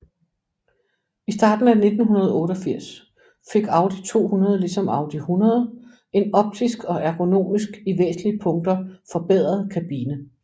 I starten af 1988 fik Audi 200 ligesom Audi 100 en optisk og ergonomisk i væsentlige punkter forbedret kabine